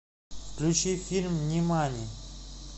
включи фильм нимани